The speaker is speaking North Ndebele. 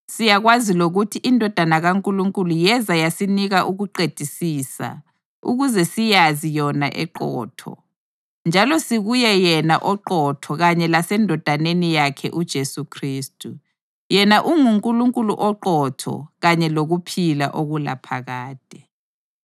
Siyakwazi lokuthi iNdodana kaNkulunkulu yeza yasinika ukuqedisisa, ukuze siyazi yona eqotho. Njalo sikuye yena oqotho kanye laseNdodaneni yakhe uJesu Khristu. Yena unguNkulunkulu oqotho kanye lokuphila okulaphakade.